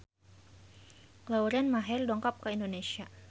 Lauren Maher dongkap ka Indonesia